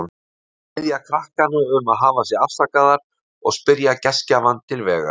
Þær biðja krakkana um að hafa sig afsakaðar og spyrja gestgjafann til vegar.